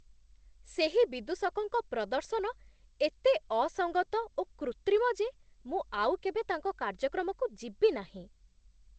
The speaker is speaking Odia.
ସେହି ବିଦୂଷକଙ୍କ ପ୍ରଦର୍ଶନ ଏତେ ଅସଙ୍ଗତ ଓ କୃତ୍ରିମ ଯେ ମୁଁ ଆଉ କେବେ ତାଙ୍କ କାର୍ଯ୍ୟକ୍ରମକୁ ଯିବି ନାହିଁ।